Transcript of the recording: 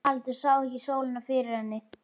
Haraldur sá ekki sólina fyrir henni.